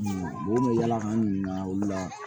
bɔn mɛ yalakan olu la